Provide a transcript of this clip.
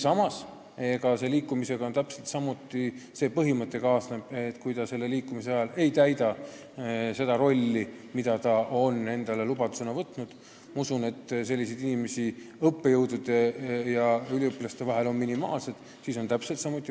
Samas kehtib selle liikumise puhul täpselt samuti põhimõte, et kui inimene selle liikumise ajal ei täida seda rolli, mida ta on lubanud täita – ma usun, et selliseid inimesi on õppejõudude ja üliõpilaste seas minimaalselt –, siis saab ta välja saata.